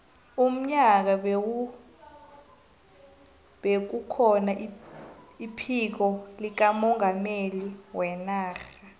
unyaka bekukhona iphiko likamongameli wenarha